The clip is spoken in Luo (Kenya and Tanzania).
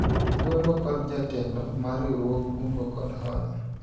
ogwelwa kod jatelo mar riwruog kungo kod hola